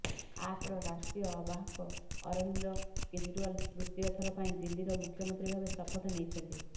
ଆପ୍ର ରାଷ୍ଟ୍ରୀୟ ଆବାହକ ଅରବିନ୍ଦ କେଜ୍ରିୱାଲ୍ ତୃତୀୟ ଥର ପାଇଁ ଦିଲ୍ଲୀର ମୁଖ୍ୟମନ୍ତ୍ରୀ ଭାବେ ଶପଥ ନେଇଛନ୍ତି